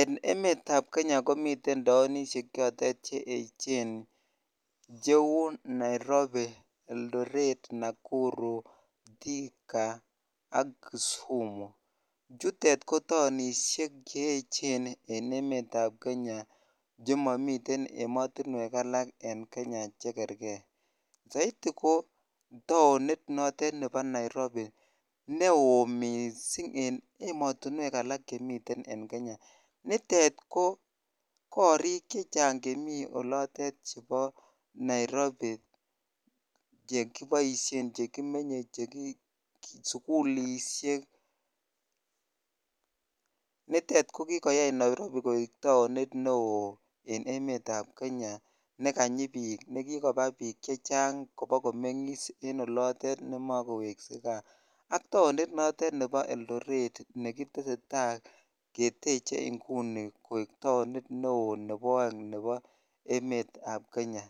En emetab Kenya komiten taonishek chotet che echen cheuu Nairobi, Eldoret, Nakuru, Thika ak kisumu, chutet ko taonishek che echenen emetab Kenya chemomiten emotinwek alak en Kenya chekerke, soiti ko taonit notet nebo Nairobi neo mising en emotinwek alak chemiten en Kenya, nitet ko korik chechang chemii olotet chebo Nairobi chekiboishen, chekimenye, sukulishek, nitet ko kikoyai Nairobi koik taonit neoo en emetab Kenya nekanyi biik nekikoba biik chechang kobakomengis en olotet nemokoweksekaa ak taoni notet nebo Eldoret nekiteseta keteche ing'uni koik taonit neo nebo oeng nebo emetab Kenya,